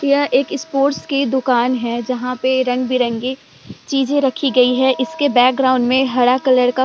यह एक स्पोर्ट्स की दुकान है जहाँ पे रंग-बिरंगे चीजे रखी गई है इसके बैक ग्राउंड में हरा कलर का --